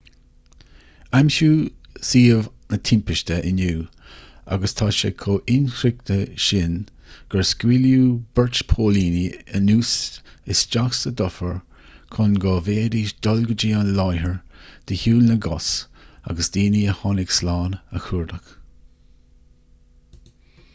aimsíodh suíomh na timpiste inniu agus tá sé chomh hinsroichte sin gur scaoileadh beirt póilíní anuas isteach sa dufair chun go bhféadfaidís dul go dtí an láthair de shiúl na gcos agus daoine a tháinig slán a chuardach